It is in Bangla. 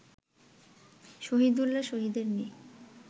শহিদুল্লাহ শহিদের মেয়ে